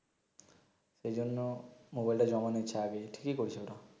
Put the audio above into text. এই জন্য মোবাইলটা জমা নিচ্ছে আগে ঠিকি করছে ওটা